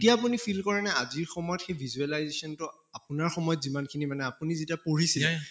এতিয়া আপুনি feel কৰে নে আজিৰ সময়ত সেই visualization টো আপোনাৰ সময়ত যিমান খিনি মানে আপুনি যেতিয়া পঢ়িছিলে